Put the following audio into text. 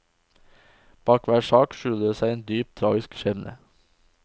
Bak hver sak skjuler det seg en dypt tragisk skjebne.